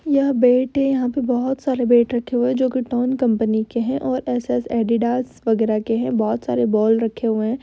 यह बैट है। यहाँ पर बहुत सारे बैट रखे हुए हैं जो कि टोन कंपनी के हैं और एसएस एडिडास वगैरह के है। बहुत सारे बॉल रखे हुए हैं।